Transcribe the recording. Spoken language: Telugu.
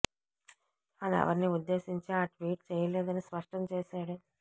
తాను ఎవరినీ ఉద్దేశించి ఆ ట్వీట్ చేయలేదని స్పష్టం చేశాడు